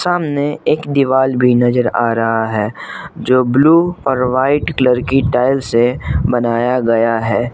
सामने एक दीवार भी नजर आ रहा है जो ब्लू और व्हाईट कलर की टाइल्स से बनाया गया है।